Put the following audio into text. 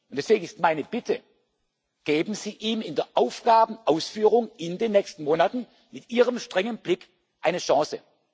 er unfähig. Deswegen ist meine Bitte Geben Sie ihm in der Aufgabenausführung in den nächsten Monaten mit ihrem strengen Blick